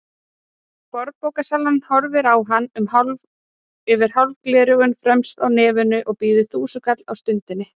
Fornbókasalinn horfir á hann yfir hálf gleraugu fremst á nefinu og býður þúsundkall á stundinni.